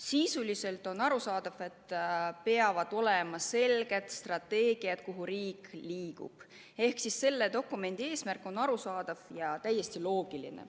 Sisuliselt on arusaadav, et peavad olema selged strateegiad selle kohta, kuhu riik liigub, seega on selle dokumendi eesmärk arusaadav ja täiesti loogiline.